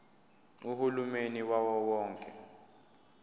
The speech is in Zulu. uhulumeni wawo wonke